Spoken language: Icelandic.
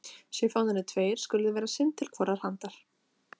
Séu fánarnir tveir, skulu þeir vera sinn til hvorrar handar.